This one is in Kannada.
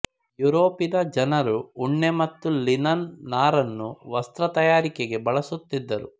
ಯೂರೋಪಿನ ಜನರು ಉಣ್ಣೆ ಮತ್ತು ಲಿನನ್ ನಾರನ್ನು ವಸ್ತ್ರತಯಾರಿಕೆಗೆ ಬಳಸುತ್ತಿದ್ದರು